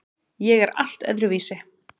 Ég er allt öðruvísi.